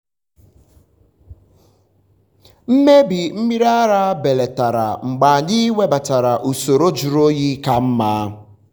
mmebi mmiri ara belatara mgbe anyị webatara usoro jụrụ oyi ka mma.